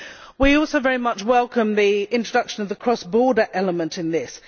We also very much welcome the introduction of the cross border element in this.